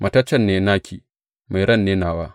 Mataccen ne naki; mai ran ne nawa.